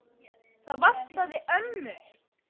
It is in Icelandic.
Það vantaði ömmu.